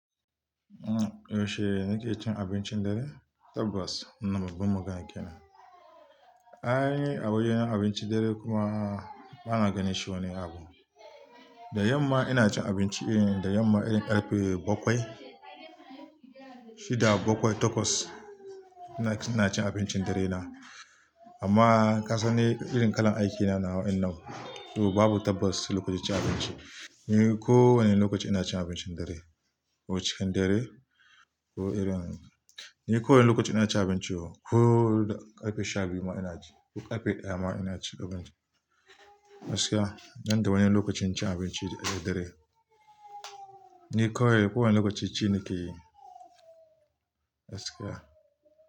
Yaushe nike cin abincin dare? Tabbas, wannan babban magana kenan. An yi a wajen abincin dare kuma ba na gani shi wani abu. Da yamma ina cin abinci, da yamma irin karfe bakwai, shida bakwai, takwas ina cin abincin dare na. Amma kasan ni irin kalan aikina nawa in nan, to babu tabbas lokacin cin abinci. Ni ko wane lokaci ina cin abincin dare, ko cikin dare ko irin ni ko wane lokaci ina cin abinci ko karfe shabiyu ma ina ci, ko karfe daya ma ina cin lokaci. Gaskiya, ban da wani lokacin cin abinci na dare. Ni kawaj ko wane lokaci ci nake yi. Gaskiya.